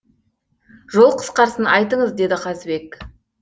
жол қысқарсын айтыңыз деді қазыбек